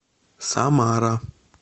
самара